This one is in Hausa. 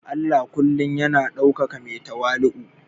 Allah kullum yana ɗaukaka mai tawali'u